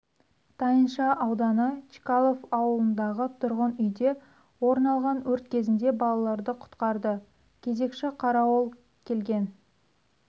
тайынша ауданы чкалов ауылындағы тұрғын үйде орын алған өрт кезінде балаларды құтқарды кезекші қарауыл келген